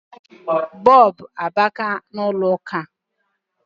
Bulbu abaka n ulọ ụka